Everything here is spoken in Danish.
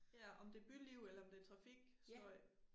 Ja om det byliv eller om det trafikstøj